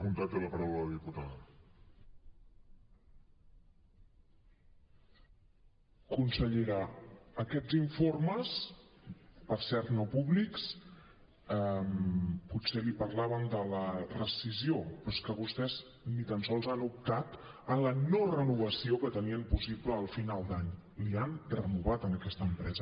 consellera aquests informes per cert no públics potser li parlaven de la rescissió però és que vostès ni tan sols han optat a la no renovació que tenien possible al final d’any l’hi han renovat a aquesta empresa